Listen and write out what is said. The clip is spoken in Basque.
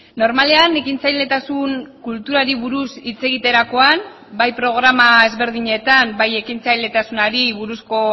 normalean ekintzailetasun kulturari buruz hitz egiterakoan bai programa ezberdinetan bai ekintzailetasunari buruzko